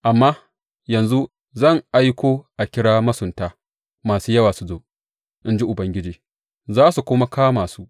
Amma yanzu zan aiko a kira masunta masu yawa su zo, in ji Ubangiji, za su kuma kama su.